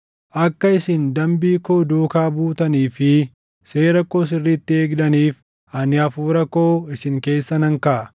Akka isin dambii koo duukaa buutanii fi seera koo sirriitti eegdaniif ani Hafuura koo isin keessa nan kaaʼa.